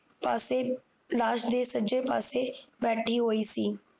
ਪਾਸੇ ਲਾਸ਼ ਦੇ ਸੱਜੇ ਪਾਸੇ ਬੈਠੀ ਹੋਈ ਸੀ